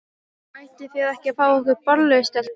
Ætlið þið ekki að fá ykkur bollu, stelpur?